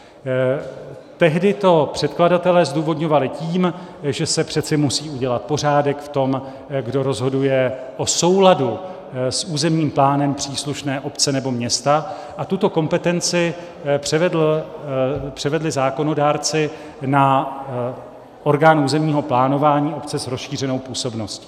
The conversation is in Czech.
Tehdy to předkladatelé zdůvodňovali tím, že se přeci musí udělat pořádek v tom, kdo rozhoduje o souladu s územním plánem příslušné obce nebo města, a tuto kompetenci převedli zákonodárci na orgán územního plánování obce s rozšířenou působností.